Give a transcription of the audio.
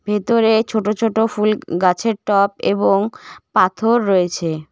ভেতরে ছোট ছোট ফুল গ-গাছের টব এবং পাথর রয়েছে।